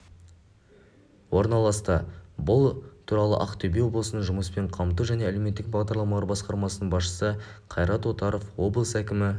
орналасты бұл туралыақтөбе облысының жұмыспен қамту және әлеуметтік бағдарламалар басқармасының басшысы қайрат отаров облыс әкімі